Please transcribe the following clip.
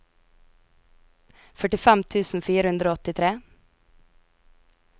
førtifem tusen fire hundre og åttitre